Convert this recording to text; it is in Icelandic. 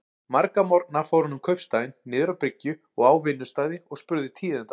Marga morgna fór hann um kaupstaðinn, niður á bryggju og á vinnustaði, og spurði tíðinda.